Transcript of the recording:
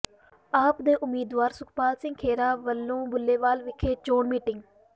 ਆਪ ਦੇ ਉਮੀਦਵਾਰ ਸੁਖਪਾਲ ਸਿੰਘ ਖਹਿਰਾ ਵੱਲੋਂ ਬੂਲੇਵਾਲ ਵਿਖੇ ਚੋਣ ਮੀਟਿੰਗ